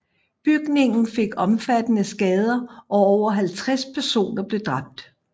Bygningen fik omfattende skader og over 50 personer blev dræbt